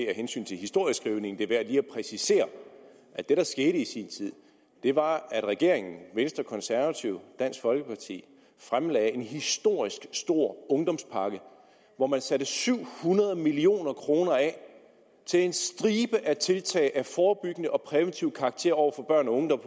af hensyn til historieskrivningen er at præcisere at det der skete i sin tid var at regeringen venstre konservative og dansk folkeparti fremlagde en historisk stor ungdomspakke hvor man satte syv hundrede million kroner af til en stribe tiltag af forebyggende og præventiv karakter over for børn og unge der